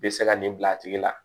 Bɛ se ka nin bila a tigi la